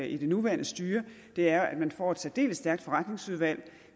i det nuværende styre er at man får et særdeles stærkt forretningsudvalg